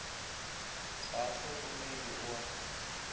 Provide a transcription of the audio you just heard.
ga o hlokomelwe o a